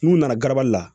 N'u nana garabali la